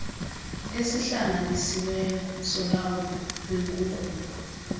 esihlanganisiweyo solawulo lwenkunkuma